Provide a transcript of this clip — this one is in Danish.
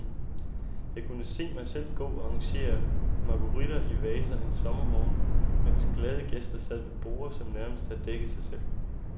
Jeg kunne se mig selv gå og arrangere marguritter i vaser en sommermorgen, mens glade gæster sad ved borde, som nærmest havde dækket sig selv.